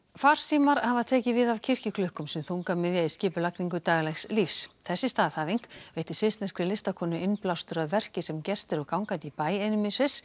farsímar hafa tekið við af kirkjuklukkum sem þungamiðja í skipulagningu daglegs lífs þessi staðhæfing veitti svissneskri listakonu innblástur að verki sem gestir og gangandi í bæ einum í Sviss